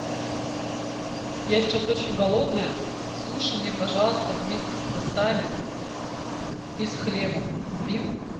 я сейчас очень голодная суши мне пожалуйста вместе с васаби и с хлебом купи